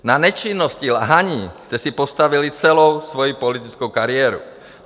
Na nečinnosti, lhaní jste si postavili celou svoji politickou kariéru.